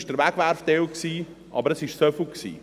dies war der Wegwerfteil, aber es war nur so viel.